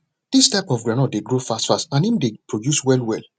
dis type of groundnut dey grow fastfast and im dey produce well well